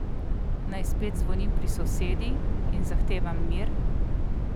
Naj spet zvonim pri sosedi in zahtevam mir?